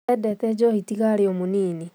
Endete njohi tiga arĩo mũnini